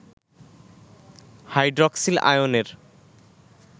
hydroxyl আয়নের